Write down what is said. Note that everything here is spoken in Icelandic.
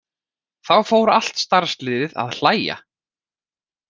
Þá fór allt starfsliðið að hlæja.